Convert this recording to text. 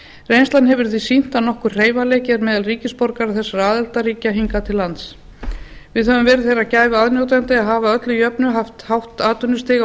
reynslan hefur því sýnt að nokkur hreyfanleiki er meðal ríkisborgara þessara aðildarríkja hingað til lands við höfum verið þeirrar gæfu aðnjótandi að hafa að öllu jöfnu haft hátt atvinnustig